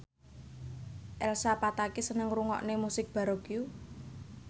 Elsa Pataky seneng ngrungokne musik baroque